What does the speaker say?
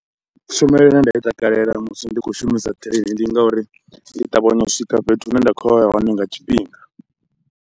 Tshumelo ine nda i takalela musi ndi kho shumisa train, ndi ngauri ndi ṱavhanya u swika fhethu hune nda khoya ya hone nga tshifhinga.